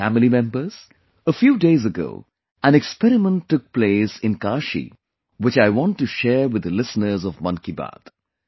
My family members, a few days ago an experiment took place in Kashi, which I want to share with the listeners of 'Mann Ki Baat'